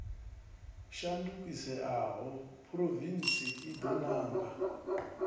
shandukiseaho phurovintsi i do nanga